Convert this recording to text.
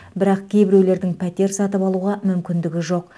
бірақ кейбіреулердің пәтер сатып алуға мүмкіндігі жоқ